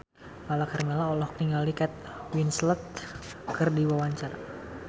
Lala Karmela olohok ningali Kate Winslet keur diwawancara